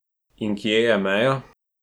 In kje je meja?